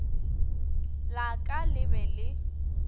la ka le be le